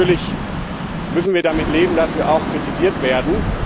Natürlich müssen wir damit leben, dass wir auch kritisiert werden.